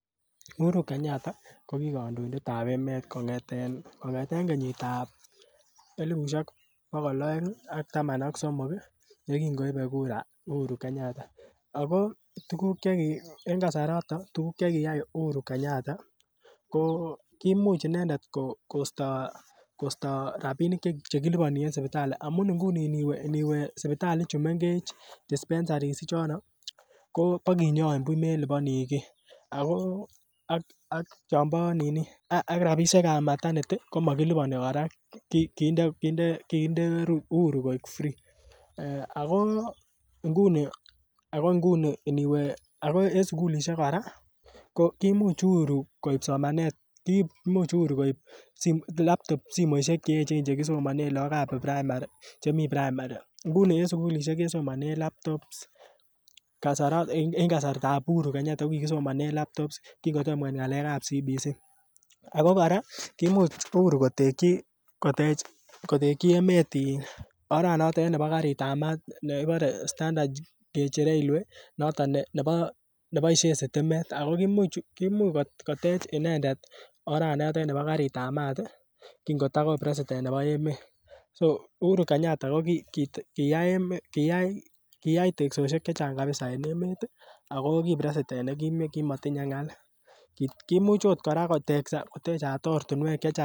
Uhuru kenyatta ko ki kandoindet ab emet kongeten kenyitab elipusiek bogol aeng ak taman ak somok yekin koibe kura Uhuru kenyatta ago en Kasarato tuguk Che kiyai Uhuru kenyatta ko kimuch inendet kosto rabinik Che kiliponi en sipitali amun nguni aniwe sipitali ichu mengech dispensary kobo konyoin buch meliponi kii ako ak rabisiek ab maternity ko Ma kiliponi kora kinde Uhuru koik free ako nguni iniwe en sukulisiek kora ko kimuch Uhuru koib somanet kiib Uhuru simoisiek Che echen Che kisomenen lagok en primary nguni en sukulisiek kisomonen laptops en kasartab Uhuru ko kikisomanen laptops kin kotom koit ngalekab CBC ako kora kimuch Uhuru kotekyi emet oranoton nebo karitab maat nekibore standard gauge railway noton neboisien sitimet ako kimuch kotech inendet oret nebo karitab maat kingoto ko president nebo emet so Uhuru kenyatta ko kiyai teksosiek Che Chang kabisa en emet ak ki president nekimotinye ngaal kimuch okot kora kotekso ko techat ort Che Chang